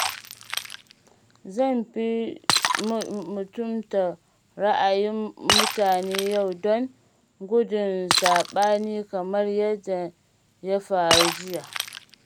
Zan fi mutunta ra’ayin mutane yau don gudun saɓani kamar yadda ya faru jiya.